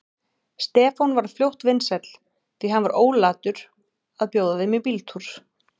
Stefán varð fljótt vinsæll, því hann var ólatur að bjóða þeim í bíltúr.